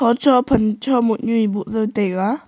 chophan chomo nyi boh jao taiga.